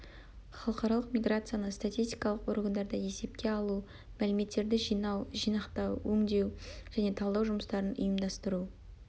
халықаралық миграцияны статистикалық органдарда есепке алу мәліметтерді жинау жинақтау өңдеу және талдау жұмыстарын ұйымдастыру